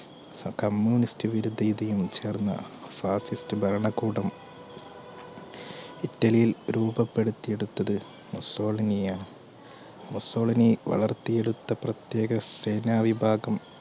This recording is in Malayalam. communist വിരുദേതിയും ചേർന്ന fascist ഭരണ കൂടം ഇറ്റലിയിൽ രൂപപെടുത്തിയെടുത്തത് മുസോളിനിയാണ്. മുസോളിനി വളർത്തിയെടുത്ത പ്രത്യേക സേന വിഭാഗം